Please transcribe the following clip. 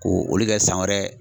Ko olu kɛ san wɛrɛ